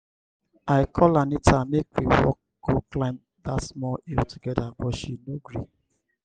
i call anita make we walk go climb dat small hill together but she no gree.